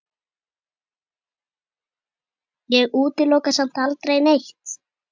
Ég útiloka samt aldrei neitt.